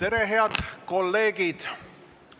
Tere, head kolleegid!